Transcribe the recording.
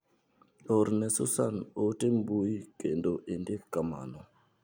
Orne susan ote mbui kendo indik kamano.